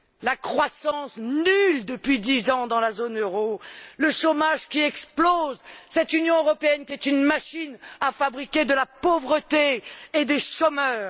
La croissance, nulle depuis dix ans dans la zone euro, le chômage qui explose, cette Union européenne qui est une machine à fabriquer de la pauvreté et des chômeurs.